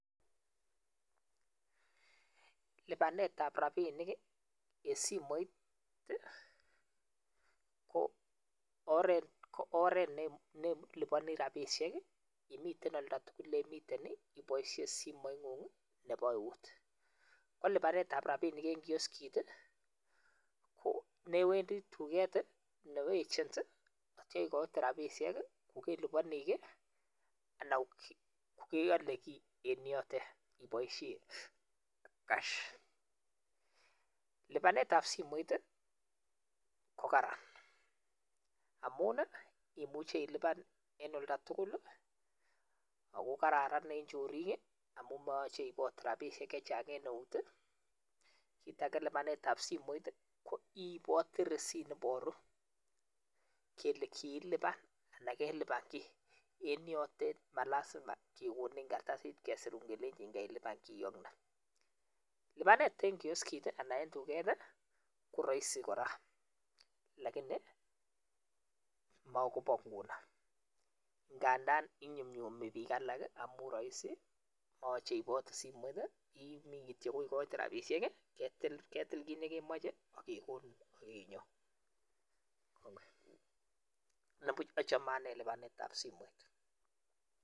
Lipanetab rapinik eng simoit, ko oret ne lipani rapishek imiten oldo tugul le miten ipoishen simoingung nebo eut. Ko lipanetab rapinik eng kioskit ko newendi duket nebo agent nityo ikoite rapinishek ko kelipani kiiy anan ko keale kiiy en yoten ipoishen cash. Lipanetab simoit ko karan amun imuche ilipan eng oldo tugul ako kararan eng choriik amun mayoche iipote rapishek che chang en eut. Kiit ake, lipanetab simoit iipoti receipt ne iporu kele kilipan anan kelipan kiiy eng yotet, ma lazima kekonin karatasit anan kesirun kel kelipan kiyotet. Lipanet eng kioskit anan eng duket, ko raisi kora lakini makoba nguno, ngada inyumnyum biik alak amun raisi yoche iipote simoit imi rapinik ketil kiit nekemache ake kekonin ak inyo, kongoi. Ne puuch achame ane lipanetab simet.